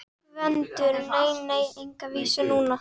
GVENDUR: Nei, nei, enga vísu núna.